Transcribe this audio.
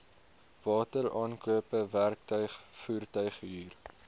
wateraankope werktuig voertuighuur